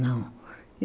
Não.